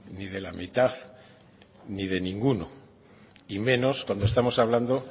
ni de la mitad ni de ninguno y menos cuando estamos hablando